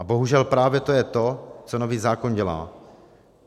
A bohužel právě to je to, co nový zákon dělá.